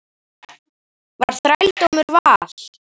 Var þrældómur val?